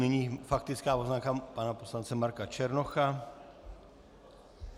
Nyní faktická poznámka pana poslance Marka Černocha.